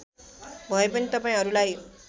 भए पनि तपाईँहरूलाई